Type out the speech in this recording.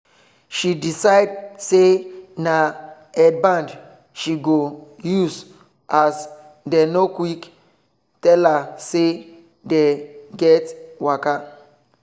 she decide say na headband she go use as dem no quick tell her say dey get waka